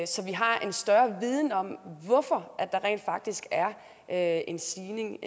så vi har en større viden om hvorfor der rent faktisk er er en stigning